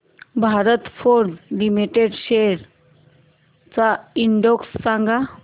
Bharat Forge Limited shares चा index सांगा